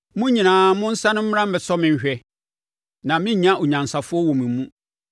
“Mo nyinaa mo nsane mmra mmɛsɔ me nhwɛ! Na merennya onyansafoɔ wɔ mo mu.